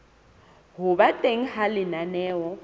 ho ba teng ha lenaneo